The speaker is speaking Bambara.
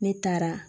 Ne taara